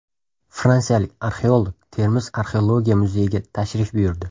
Fransiyalik arxeolog Termiz arxeologiya muzeyiga tashrif buyurdi.